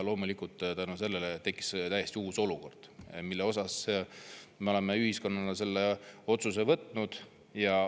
Loomulikult tänu sellele tekkis täiesti uus olukord, mille osas me oleme ühiskonnana selle otsuse võtnud.